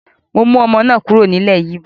Mo mú ọmọ náà kúrò ní ilẹ́ Yíbò